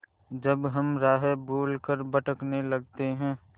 जब हम राह भूल कर भटकने लगते हैं